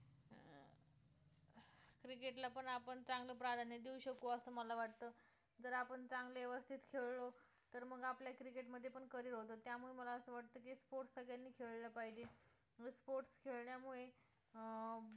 cricket ला पण आपण चांगलं प्राधान्य देऊ शकू असं मला वाटतं जर आपण चांगले व्यवस्थित खेळलो तर मग आपलं cricket मध्ये पण career होते त्यामुळे मला असं वाटतं की sports सगळ्यांनी खेळले पाहिजे sports खेळण्यामुळे अं